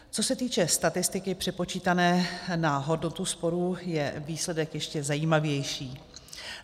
Co se týče statistiky přepočítané na hodnotu sporů, je výsledek ještě zajímavější.